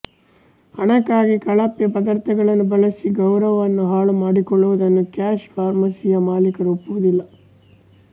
ಹಣಕ್ಕಾಗಿ ಕಳಪೆ ಪದಾರ್ಥಗಳನ್ನು ಬಳಸಿ ಗೌರವವನ್ನು ಹಾಳುಮಾಡಿಕೊಳ್ಳುವುದನ್ನು ಕ್ಯಾಶ್ ಫಾರ್ಮಸಿಯ ಮಾಲಿಕರು ಒಪ್ಪುವುದಿಲ್ಲ